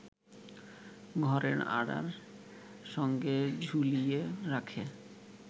ঘরের আঁড়ার সঙ্গে ঝুলিয়ে রাখে